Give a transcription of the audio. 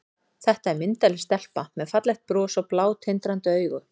Þetta er myndarleg stelpa með fallegt bros og blá, tindrandi augu.